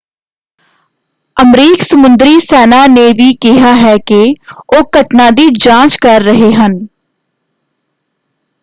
ਅਮਰੀਕ ਸਮੁੰਦਰੀ ਸੈਨਾ ਨੇ ਵੀ ਕਿਹਾ ਹੈ ਕਿ ਉਹ ਘਟਨਾ ਦੀ ਜਾਂਚ ਕਰ ਰਹੇ ਹਨ।